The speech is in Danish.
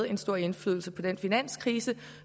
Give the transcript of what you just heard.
en stor indflydelse på den finanskrise